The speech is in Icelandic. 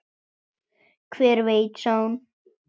Hver veit, sagði hún.